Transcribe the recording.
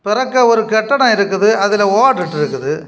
பெறக்க ஒரு கட்டடம் இருக்குது அதுல ஓடிட்ருக்குது .]